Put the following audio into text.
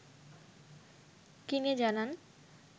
কিনে জানান